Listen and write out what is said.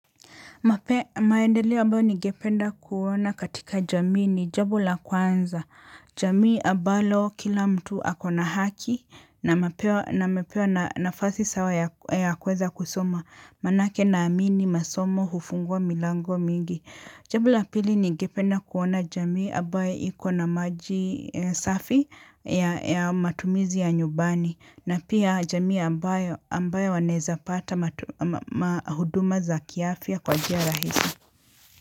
Maendeleo ambayo ningependa kuona katika jamii ni jambo la kwanza. Jamii ambalo kila mtu akona haki na amepewa nafasi sawa ya kuweza kusoma. Manake naamini masomo hufungua milango mingi jambo la pili ningependa kuona jamii ambayo ikona maji safi ya matumizi ya nyumbani na pia jamii ambayo wanaweza pata huduma za kiafya kwa njia rahisi.